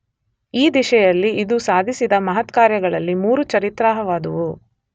ಈ ದಿಶೆಯಲ್ಲಿ ಇದು ಸಾಧಿಸಿದ ಮಹತ್ಕಾರ್ಯಗಳಲ್ಲಿ ಮೂರು ಚರಿತ್ರಾರ್ಹವಾದುವು